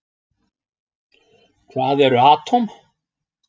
Hvað eru atóm?